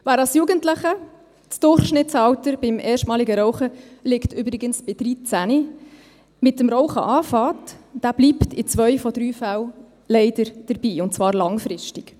Wer als Jugendlicher – das Durchschnittsalter beim erstmaligen Rauchen liegt übrigens bei 13 Jahren – mit dem Rauchen beginnt, bleibt in zwei von drei Fällen leider dabei, und zwar langfristig.